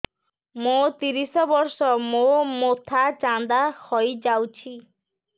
ମୋ ତିରିଶ ବର୍ଷ ମୋ ମୋଥା ଚାନ୍ଦା ହଇଯାଇଛି